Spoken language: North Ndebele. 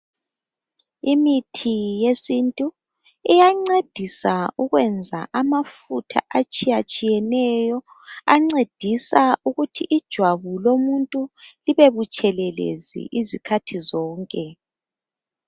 Imithi yesintu iyancedisa ukwenza amafutha atshiyatshiyeneyo ancedisa ukuthi ijwabu lomuntu libe butshelelezi izikhathi zonke.